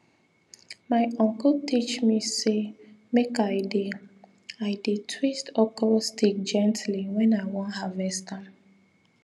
my uncle teach me say make i dey i dey twist okro stick gently when i wan harvest am